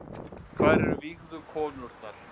Hvar eru vígðu konurnar